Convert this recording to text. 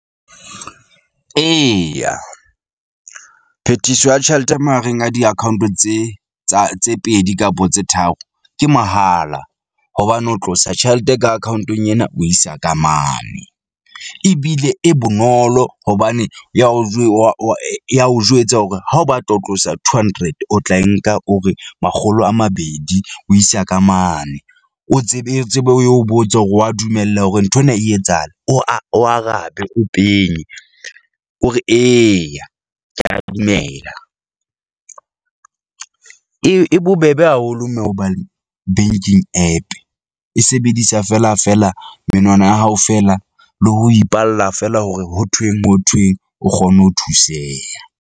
Eya, phethiso ya tjhelete mahareng a di-account tse tsa tse pedi kapo tse tharo ke mahala hobane ho tlosa tjhelete ka account-ong ena. O isa ka mane ebile e bonolo hobane ya o wa ya o jwetsa hore ha o batla ho tlosa two hundred o tla e nka o re makgolo a mabedi, o isa ka mane. O tsebe o tsebe, o botse hore wa dumela hore nthwena e etsahala. O a o arabe, o penye o re eya, ke a dumela . E, e bobebe haholo mme hobane banking app e sebedisa fela, fela menwana ya hao fela le ho ipalla feela hore ho thweng ho thweng o kgone ho thuseha.